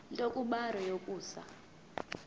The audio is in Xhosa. nto kubarrow yokusa